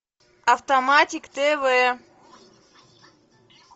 автоматик тв